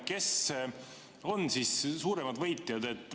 Kes on suuremad võitjad?